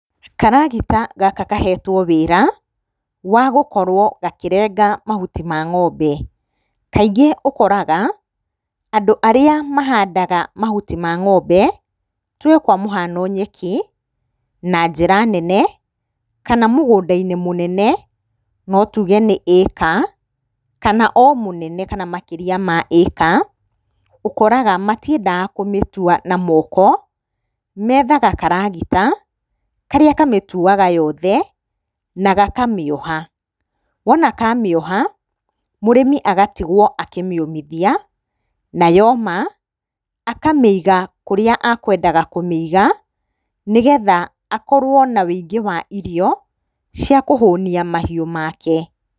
Karagita gaka kahetwo wĩra wa gũkorwo gakĩrenga mahuti ma ng'ombe. Kaingĩ ũkoraga arĩa mahandaga mahuti ma ng'ombe tuge ta kwa mũhano nyeki na njĩra nene kana mũgũnda mũnene, no tuge nĩ ĩka kana ona mũnene makĩria ma ĩka ũkoraga matiendaga kũmĩtua na moko, methaga karagita karĩa kamĩtuaga yothe na gakamĩoha. Wona kamĩoha mũrĩmi agatigwo akĩmĩũmithia na yoma akamĩiga kũrĩa kwendaga kũmĩiga nĩgetha akorwo na ũingĩ wa irio cia kũhũnia mahiũ make.